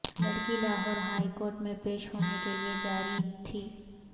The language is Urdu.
لڑکی لاہور ہائی کورٹ میں پیش ہونے کے لیے جارہی تھی